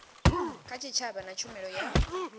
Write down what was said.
kha tshitshavha na tshumelo ya